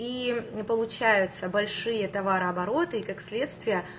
и не получается большие товарооборота и как следствие